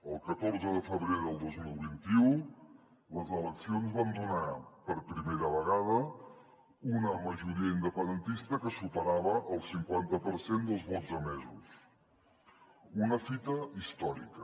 el catorze de febrer del dos mil vint u les eleccions van donar per primera vegada una majoria independentista que superava el cinquanta per cent dels vots emesos una fita històrica